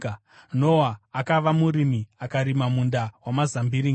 Noa akava murimi, akarima munda wamazambiringa.